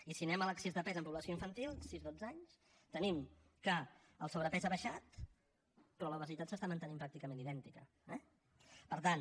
i si anem a l’excés de pes en població infantil sis dotze anys tenim que el sobrepès ha baixat però l’obesitat s’està mantenint pràcticament idèntica eh per tant